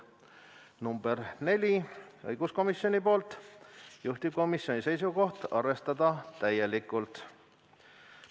Ettepanek nr 4, esitanud õiguskomisjon, juhtivkomisjoni seisukoht: arvestada täielikult.